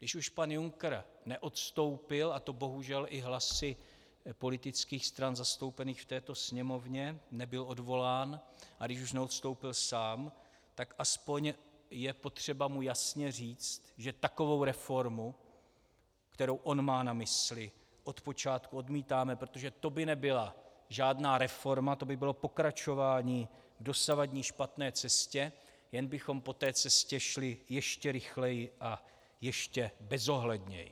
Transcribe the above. Když už pan Juncker neodstoupil, a to bohužel i hlasy politických stran zastoupených v této Sněmovně, nebyl odvolán, a když už neodstoupil sám, tak aspoň je potřeba mu jasně říct, že takovou reformu, kterou on má na mysli, od počátku odmítáme, protože to by nebyla žádná reforma, to by bylo pokračování v dosavadní špatné cestě, jen bychom po té cestě šli ještě rychleji a ještě bezohledněji.